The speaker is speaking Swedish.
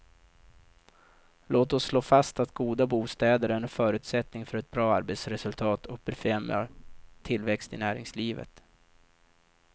Låt oss slå fast att goda bostäder är en förutsättning för ett bra arbetsresultat och befrämjar tillväxt i näringslivet.